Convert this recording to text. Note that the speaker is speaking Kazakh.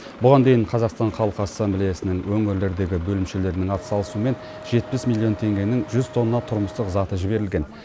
бұған дейін қазақстан халық ассмаблеясының өңірлердегі бөлімшелерінің атсалысуымен жетпіс миллион теңгенің мен жүз тонна тұрмыстық заты жіберілген